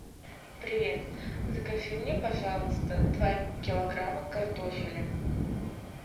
привет закажи мне пожалуйста два килограмма картофеля